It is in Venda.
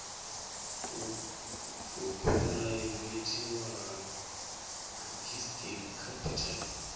u phuraivethiwa ha ciskei capital